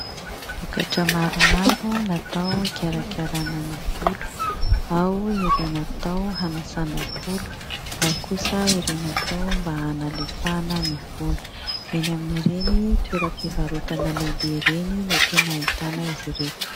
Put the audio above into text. Vokatra maromaro natao hikarakarana ny volo : ao ireo natao hanasana volo, ao kosa ireo natao mba hanalefahana ny volo. Eny amin'ireny toeram-pivarotana lehibe ireny no tena ahitana azy ireto.